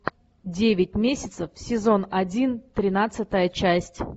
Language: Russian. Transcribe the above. девять месяцев сезон один тринадцатая часть